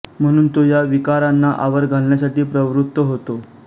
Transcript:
म्हणून तो या विकारांना आवर घालण्यासाठी प्रवृत्त होतो